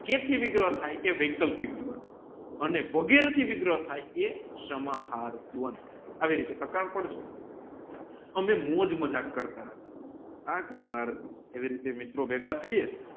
વિગ્રહ થાય અને વગેરે થી વિગ્રહ થાય એ સંહાર દ્વંધ આવી રૂટે પ્રક પાસે અમે મોજ જામક કરતાતા આ ઘણી વાર એવી રૂટે મિત્ર બેઘ થઇએ